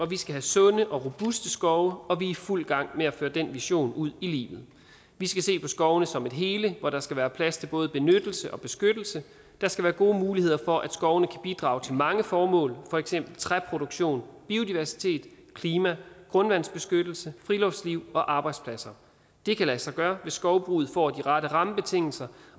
vi skal have sunde og robuste skove og vi er i fuld gang med at føre den vision ud i livet vi skal se på skovene som et hele hvor der skal være plads til både benyttelse og beskyttelse der skal være gode muligheder for at skovene kan bidrage til mange formål for eksempel træproduktion biodiversitet klima grundvandsbeskyttelse friluftsliv og arbejdspladser det kan lade sig gøre hvis skovbruget får de rette rammebetingelser